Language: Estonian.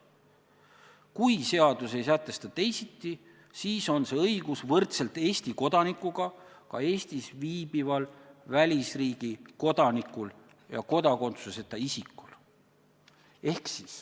Kui seadus ei sätesta teisiti, siis on see õigus võrdselt Eesti kodanikuga ka Eestis viibival välisriigi kodanikul ja kodakondsuseta isikul.